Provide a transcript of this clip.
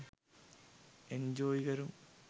Enjoy කරමු.